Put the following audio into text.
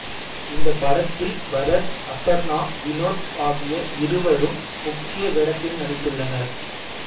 இந்தப் படத்தில் பரத் அபர்ணா வினோத் ஆகிய இருவரும் முக்கிய வேடத்தில் நடித்துள்ளனர்